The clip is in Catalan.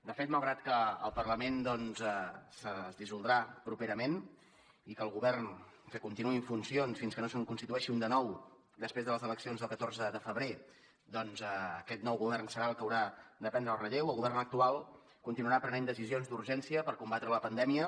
de fet malgrat que el parlament doncs es dissoldrà properament i que el govern continuï en funcions fins que no se’n constitueixi un de nou després de les eleccions del catorze de febrer que aquest nou govern serà el que haurà de prendre el relleu el govern actual continuarà prenent decisions d’urgència per combatre la pandèmia